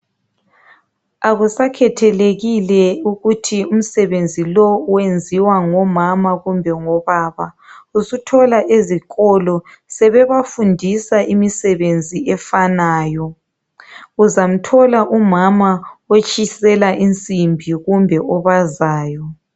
Akusakhethelekile ukuthi umsebenzi lo wenziwa ngomama kumbe ngobaba. Usuthola ezikolo, bebafundisa imisebenzi efanayo. Uzamthola umama otshisela insimbi, kumbe obazayo.